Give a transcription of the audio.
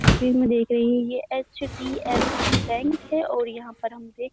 तस्वीर में देख रहे हैं ये एच.डी.एफ.सी. बैंक है और यहाँ पर हम देख --